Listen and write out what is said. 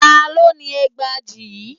Ta ló ni ẹgbàajì yìí?